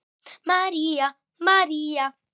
María, María.